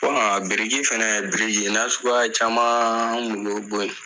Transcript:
biriki fɛnɛ biriki nasugu caman an bolo